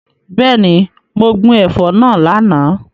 Bẹẹni, mo gbin ẹ̀fọ́ náà lánàá.